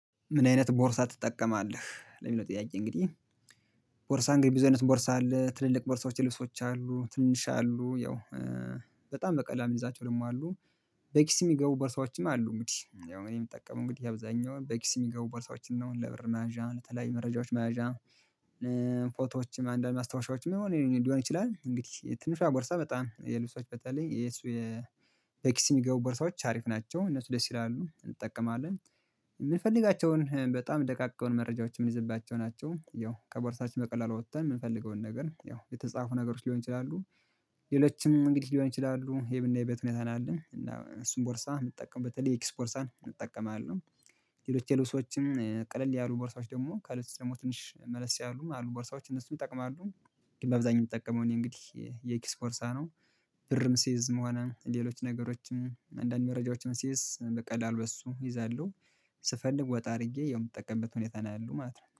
ምን አይነት ቦርሳ ትጠቀማለህ? ለሚለው ጥያቄ እንግዲህ ቦርሳ እንግዲህ ብዙ አይነት ቦርሳ አለ ትልልቅ ቦርሳዎች ልብሶች አሉ ትንሽ አሉ ያው በጣም በቀላል ልይዛቸው ደግሞ አሉ። በኪስ የሚገቡ በርሳዎችም አሉ እንግዲህ ያው እኔ የምጠቀመው እንግዲህ አብዛኛውን በኪስ የሚገቡ ቦርሳዎችን ነው። ለብር መያዣ ለተለያዩ መረጃዎች መያዣ ፎቶዎችም አንዳንድ ማስታወሻዎችም የሆነ ሊሆን ይችላል እንግዲህ ትንሿ ቦርሳ በጣም የልብሶች በተለይ የእሱ በኪስ የሚገቡ ቦርሳዎች አሪፍ ናቸው እነሱ ደስ ይላሉ። እንጠቀማለን። የምንፈልጋቸውን በጣም ደቃቅ የሆኑ መረጃዎችን የምንይዝባቸው ናቸው። ያው ከቦርሳችን በቀላሉ ወጥተን የምንፈልገውን ነገር ያው የተጻፉ ነገሮች ሊሆን ይችላሉ ሌሎችም እንግዲህ ሊሆን ይችላሉ የምናይበት ሁኔታ ነው ያለው እና እሱን ቦርሳ የምጠቀምበት በተለይ የኪስ ቦርሳን እጠቀማለሁ ሌሎች ሰዎችም ቀለል ያሉ ቦርሳዎች ደግሞ ከሌሎች ደግሞ ትንሽ መለስ ያሉም አሉ ቦርሳዎች እነሱን ይጠቅማሉ በአብዛኛው የምጠቀመው እኒ እንግዲህ የኪስ ቦርሳ ነው። ብርም ስይዝም ሆነ ሌሎች ነገሮችን አንዳንድ መረጃዎችን ስይዝ በሱ እይዛለሁ። ስፈልግ ወጣ አድርጌ ያው የምጠቀምበት ሁኔታ ነው ያለው ማለት ነው።